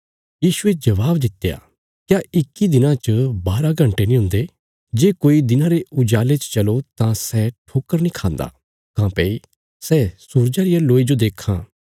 यीशुये जबाब दित्या क्या इक्की दिना च बारा घण्टे नीं हुंदे जे कोई दिना रे उजाले च चलो तां सै ठोकर नीं खांदा काँह्भई सै सूरजा रिया लोई जो देखां